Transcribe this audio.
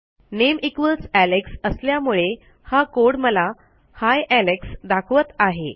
नामे equals Alex असल्यामुळे हा code मला ही एलेक्स दाखवत आहे